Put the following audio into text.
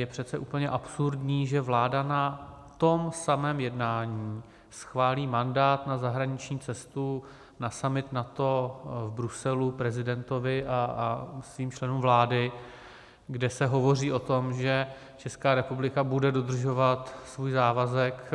Je přece úplně absurdní, že vláda na tom samém jednání schválí mandát na zahraniční cestu na summit NATO v Bruselu prezidentovi a svým členům vlády, kde se hovoří o tom, že Česká republika bude dodržovat svůj závazek